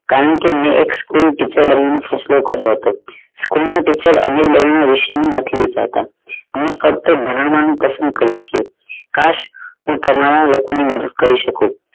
કારણ કે મૈં એક school teacher બની ફેસલો કર્યો હતો school ના teacher નથી વેચાતા ફક્ત ભણાવાનું પસંદ કરે છે કાશ હું તમારા લોકો ની મદદ કરી શકું